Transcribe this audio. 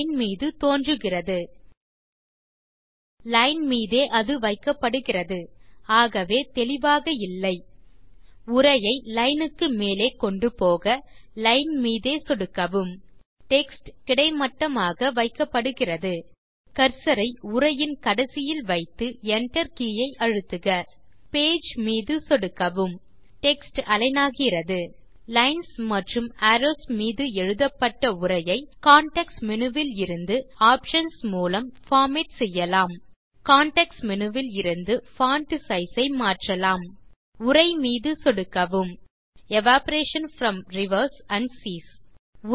line மீது தோன்றுகிறது line மீதே அது வைக்கப்படுகிறது ஆகவே தெளிவாக இல்லை உரையை லைன் க்கு மேலே கொண்டு போக லைன் மீதே சொடுக்கவும் டெக்ஸ்ட் கிடைமட்டமாக வைக்கப்படுகிறது கர்சர் ஐ உரையின் கடைசியில் வைத்து Enter கே ஐ அழுத்துக பேஜ் மீது சொடுக்கவும் டெக்ஸ்ட் அலிக்ன் ஆகிறது லைன்ஸ் மற்றும் அரோவ்ஸ் மீது எழுதப்பட்ட உரையை கான்டெக்ஸ்ட் மேனு விலிருந்து ஆப்ஷன்ஸ் மூலம் பார்மேட் செய்யலாம் கான்டெக்ஸ்ட் மேனு விலிருந்து பான்ட் சைஸ் ஐ மாற்றலாம் உரை மீது சொடுக்கவும் evaporation from rivers and cheese